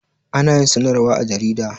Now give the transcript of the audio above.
Ana yin sanarwa a jarida